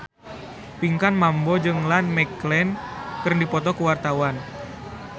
Pinkan Mambo jeung Ian McKellen keur dipoto ku wartawan